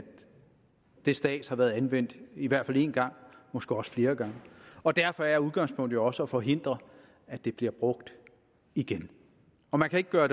det stads har været anvendt i hvert fald en gang og måske også flere gange og derfor er udgangspunktet jo også at forhindre at det bliver brugt igen man kan ikke gøre